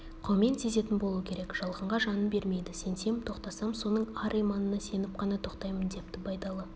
қаумен сезетін болу керек жалғанға жанын бермейді сенсем тоқтасам соның ар-иманына сеніп қана тоқтаймын депті байдалы